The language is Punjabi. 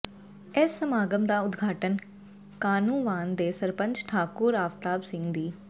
ਇਸ ਸਮਾਗਮ ਦਾ ਉਦਘਾਟਨ ਕਾਹਨੂੰਵਾਨ ਦੇ ਸਰਪੰਚ ਠਾਕੁਰ ਆਫਤਾਬ ਸਿੰਘ ਦੀ